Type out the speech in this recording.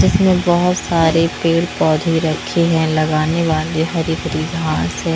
इसमें बोहोत सारे पेड़ पौधे रखे हैं लगाने वाले हरे हरे घास है।